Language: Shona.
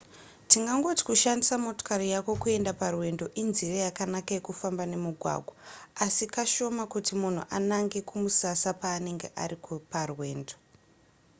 tingangoti kushandisa motokari yako kuenda parwendo inzira yakanaka yekufamba nemugwagwa asi kashoma kuti munhu anange kumusasa paanenge ari parwendo